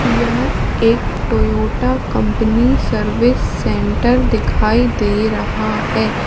यह एक Toyota company service centre दिखाई दे रहा है।